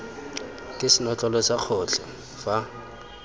ke senotlele sa gotlhe fa